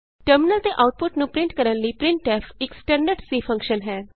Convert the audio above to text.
terminal ਤੇ output ਨੂੰ print ਕਰਨ ਲਈ ਪ੍ਰਿੰਟਫ ਇਕ ਸਟੈਂਡਰਡ C ਫੰਕਸ਼ਨ ਹੈ